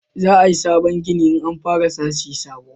za a yi sabon gini in fara sashi sabo